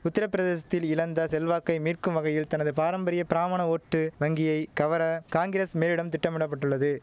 உத்திரப்பிரதேசத்தில் இழந்த செல்வாக்கை மீட்கும் வகையில் தனது பாரம்பரிய பிராமண ஓட்டு வங்கியை கவர காங்கிரஸ் மேலிடம் திட்டமிட பட்டுள்ளது